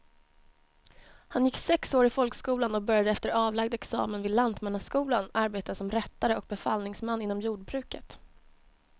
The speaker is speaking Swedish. Han gick sex år i folkskolan och började efter avlagd examen vid lantmannaskolan arbeta som rättare och befallningsman inom jordbruket.